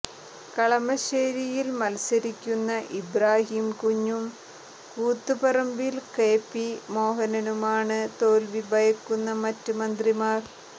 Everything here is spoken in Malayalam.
കളമശ്ശേരിയിൽ മത്സരിക്കുന്ന ഇബ്രാഹീം കുഞ്ഞും കൂത്തുപറമ്പിൽ കെ പി മോഹനനുമാണ് തോൽവി ഭയക്കുന്ന മറ്റ് മന്ത്രിമാർ